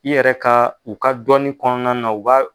I yɛrɛ ka u ka dɔɔnin kɔnɔna na u b'a.